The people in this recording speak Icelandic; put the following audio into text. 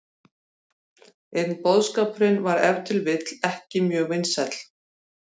En boðskapurinn var ef til vill ekki mjög vinsæll.